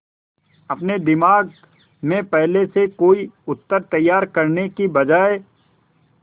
अपने दिमाग में पहले से कोई उत्तर तैयार करने की बजाय